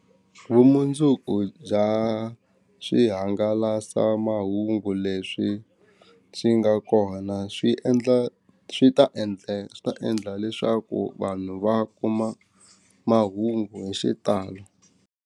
Vumundzuku bya swihangalasamahungu leswi swi nga kona swi endla swi ta endla swi ta endla leswaku vanhu va kuma mahungu hi xitalo.